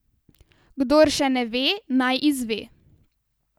Kdor še ne ve, naj izve.